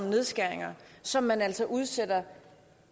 nedskæringer som man altså udsætter